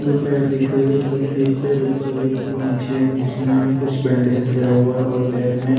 दो पैर दिख रहे हैं जो एक पैर ऊपर है एक पैर नीचे है जिसमें कुछ बैंडेजेज लगा हुआ है और पैर में --